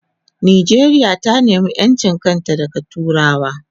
Nijeria ta nema enchinta daga turawa